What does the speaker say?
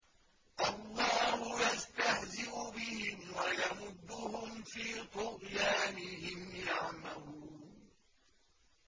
اللَّهُ يَسْتَهْزِئُ بِهِمْ وَيَمُدُّهُمْ فِي طُغْيَانِهِمْ يَعْمَهُونَ